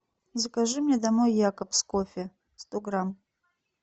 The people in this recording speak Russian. закажи мне домой якобс кофе сто грамм